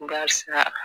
Barisa